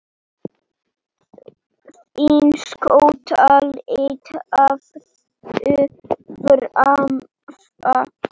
Þín skotta litla, Hafdís Svava.